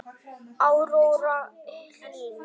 Áróra Hlín.